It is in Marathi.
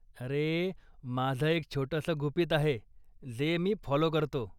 अरे, माझं एक छोटंसं गुपीत आहे जे मी फाॅलो करतो.